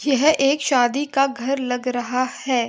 यह एक शादी का घर लग रहा है।